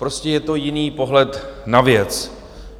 Prostě je to jiný pohled na věc.